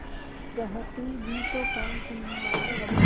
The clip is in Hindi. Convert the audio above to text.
कहती भी तो कौन सुनने वाला था